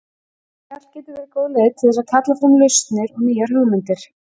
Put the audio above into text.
Spjall getur verið góð leið til þess að kalla fram lausnir og nýjar hugmyndir.